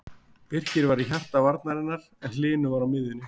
Birkir var í hjarta varnarinnar en Hlynur var á miðjunni.